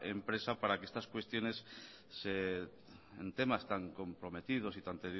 empresa para que estas cuestiones en temas tan comprometidos y tan